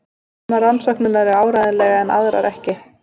Sumar rannsóknirnar eru áreiðanlegar en aðrar ekki.